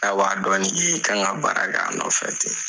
N'a b'a dɔn n'i ye i kan ka baara kɛ a nɔfɛ ten.